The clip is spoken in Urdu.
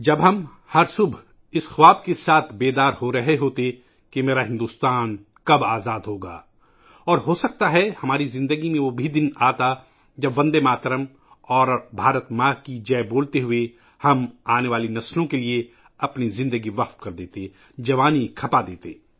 اب ہم ہر صبح اس خواب کے ساتھ جاگتے کہ میرا بھارت کب آزاد ہوگا اور ہو سکتا ہے ، ہماری زندگی میں وہ دن بھی آتا ، جب بندے ماترم اور بھارت ماتا کی جے بولتے ہوئے ، ہم آنے والی نسلوں کے لئے اپنی زندگی قربان کر دیتے ، زندگی کھپا دیتے